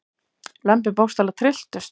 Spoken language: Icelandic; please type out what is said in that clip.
Lömbin bókstaflega trylltust.